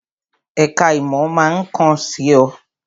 Èka ìmò máa kàn sí ọ